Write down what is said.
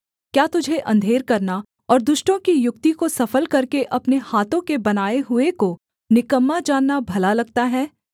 क्या तुझे अंधेर करना और दुष्टों की युक्ति को सफल करके अपने हाथों के बनाए हुए को निकम्मा जानना भला लगता है